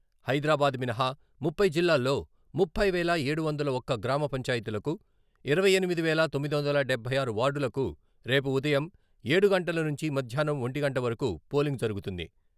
హైదరాబాద్ మినహా ముప్పై జిల్లాల్లో ముప్పై వేల ఏడు వందల ఒక్క గ్రామ పంచాయతీలకు ఇరవై ఎనిమిది వేల తొమ్మిది వందల డబ్బై ఆరు వార్డులకు రేపు ఉదయం ఏడు గంటల నుంచి మధ్యాహ్నం ఒంటి గంట వరకు పోలింగ్ జరుగుతుంది.